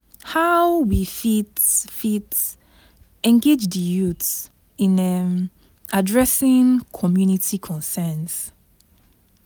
how we fit fit engage di youth in um adressing community concerns?